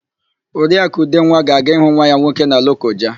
Oriakụ Udenwa ga-aga ịhụ nwa ya nwoke na Lokoja.